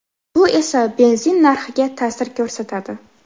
Bu esa benzin narxiga ta’sir ko‘rsatadi.